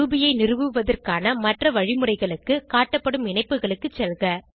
Ruby ஐ நிறுவுவதற்கான மற்ற வழிமுறைகளுக்கு காட்டப்படும் இணைப்புகளுக்கு செல்க